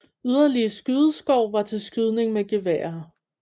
Yderligere skydeskår var til skydning med geværer